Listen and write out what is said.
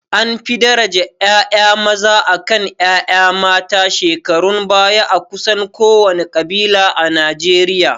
An fi daraja ƴaƴa maza akan ƴaƴa mata a shekarun baya a kusan kowane ƙabila a Najeriya